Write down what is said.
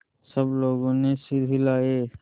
सब लोगों ने सिर हिलाए